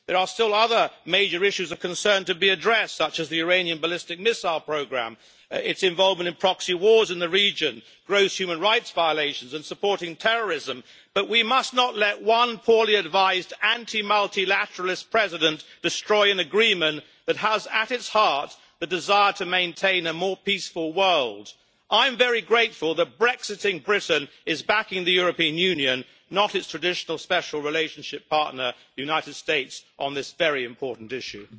There are still other major issues of concern to be addressed, such as the Iranian ballistic missile programme, its involvement in proxy wars in the region, gross human rights violations and supporting terrorism, but we must not let one poorly advised anti multilateralist president destroy an agreement that has, at its heart, the desire to maintain a more peaceful world. I am very grateful that brexiting Britain is backing the European Union, not its traditional special relationship' partner, the United States, on this very important issue.